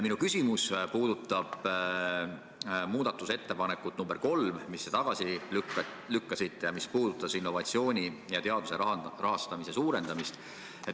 Minu küsimus puudutab muudatusettepanekut nr 3, mille te tagasi lükkasite ning mis puudutas innovatsiooni ja teaduse rahastamise suurendamist.